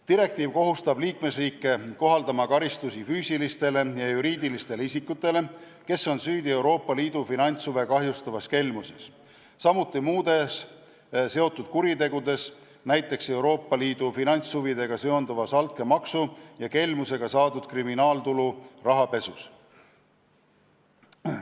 Direktiiv kohustab liikmesriike kohaldama karistusi füüsilistele ja juriidilistele isikutele, kes on süüdi Euroopa Liidu finantshuve kahjustavas kelmuses, samuti muudes seotud kuritegudes, näiteks Euroopa Liidu finantshuvidega seonduvas altkäemaksu ja kelmusega saadud kriminaaltulu rahapesus.